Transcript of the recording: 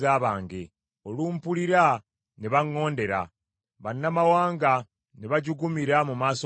Olumpulira ne baŋŋondera, bannamawanga ne bajugumira mu maaso gange.